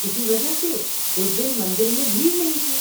کسی وجہ سے اس دن مندر میں بھیڑ نہیں تھی۔